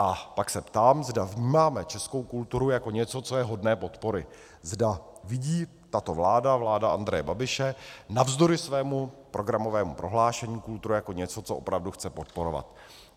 A pak se ptám, zda vnímáme českou kulturu jako něco, co je hodné podpory, zda vidí tato vláda, vláda Andreje Babiše, navzdory svému programovému prohlášení kulturu jako něco, co opravdu chce podporovat.